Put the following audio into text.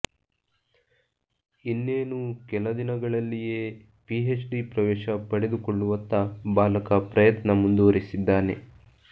ಇನ್ನೇನು ಕೆಲ ದಿನಗಳಲ್ಲಿಯೇ ಪಿಹೆಚ್ಡಿ ಪ್ರವೇಶ ಪಡೆದುಕೊಳ್ಳುವತ್ತ ಬಾಲಕ ಪ್ರಯತ್ನ ಮುಂದುವರಿಸಿದ್ದಾನೆ